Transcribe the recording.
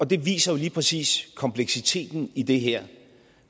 det viser jo lige præcis kompleksiteten i det her